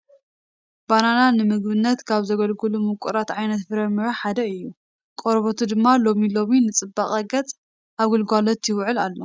በነና ንምግብነት ካብ ዘገልግሉ ምቁራት ዓይነት ፍረ ምረ ሓደ እዩ፡፡ ቆርቦቱ ድማ ሎሚ ሎሚ ንፅባቐ ገፅ ኣብ ግልጋሎት ይውዕል ኣሎ፡፡